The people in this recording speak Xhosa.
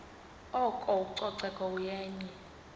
oko ucoceko yenye